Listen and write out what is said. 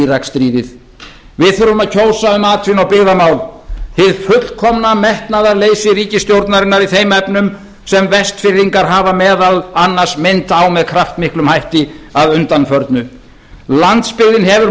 íraksstríðið við þurfum að kjósa um atvinnu og byggðamál hið fullkomna metnaðarleysi ríkisstjórnarinnar í þeim efnum sem vestfirðingar hafa meðal annars minnt á með kraftmiklum hætti að undanförnu landsbyggðin hefur